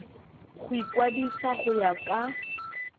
go ikwadisa go ya ka